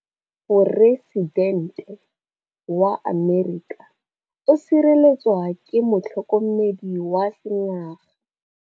Poresitêntê wa Amerika o sireletswa ke motlhokomedi wa sengaga.